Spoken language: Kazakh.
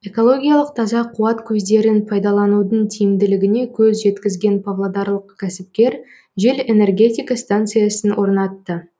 экологиялық таза қуат көздерін пайдаланудың тиімділігіне көз жеткізген павлодарлық кәсіпкер жел энергетика станциясын орнатты